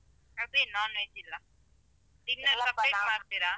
ಅದೇನ್ non veg ಇಲ್ಲ? ಮಾಡ್ತಿರಾ?